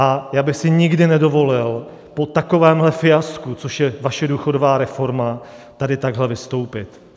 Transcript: A já bych si nikdy nedovolil po takovémhle fiasku, což je vaše důchodová reforma, tady takhle vystoupit.